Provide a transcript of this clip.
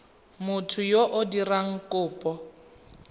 motho yo o dirang kopo